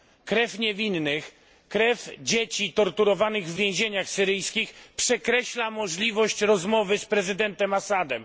Krew niewinnych, krew dzieci torturowanych w więzieniach syryjskich przekreśla możliwość rozmowy z prezydentem Assadem.